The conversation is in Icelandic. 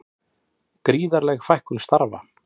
Gríðarleg fækkun starfa